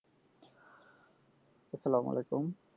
আসসালাম আলাইকুম